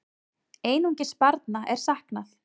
Einungis barna er saknað.